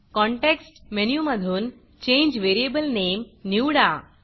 context मेनूमधून change variable Nameचेंज variable name निवडा